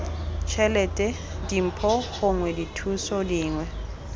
tšhelete dimpho gongwe dithuso dingwe